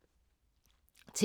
TV 2